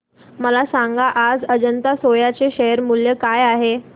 मला सांगा आज अजंता सोया चे शेअर मूल्य काय आहे